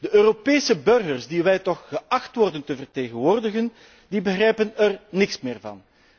De Europese burgers die wij toch geacht worden te vertegenwoordigen, begrijpen er niets meer van.